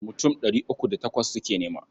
Mutum ɗari uku da takwas suke nema.